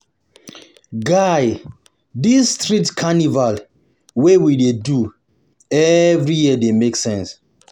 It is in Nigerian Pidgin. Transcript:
Guy, dis street carnival wey we dey do every year dey make sense.